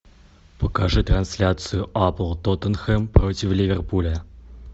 покажи трансляцию апл тоттенхэм против ливерпуля